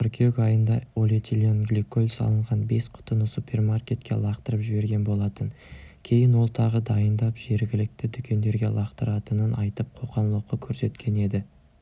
қыркүйек айында олэтиленгликоль салынған бес құтыны супермаркетке лақтырып жіберген болатын кейін ол тағы дайындап жергілікті дүкендерге лақтыратынын айтып қоқан-лоққы көрсеткен еді